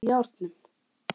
Það er allt í járnum